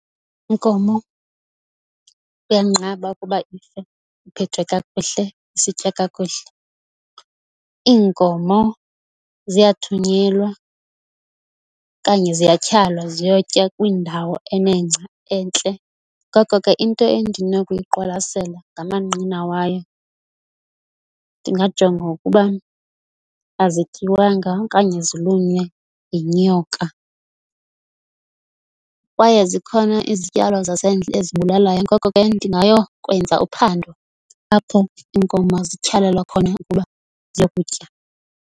Inkomo kuyanqaba ukuba ife iphethwe kakhuhle isitya kakuhle, iinkomo ziyathunyelwa okanye ziyathyalwa ziyotya kwiindawo enengca entle. Ngoko ke, into endinokuyiqwalasela ngamanqina wayo, ndingajonga ukuba azityiwanga okanye zilunywe yinyoka. Kwaye zikhona izityalo zasendle ezibulalayo. Ngoko ke, ndingayokwenza uphando apho iinkomo zityhalelwa khona ukuba ziyokutya.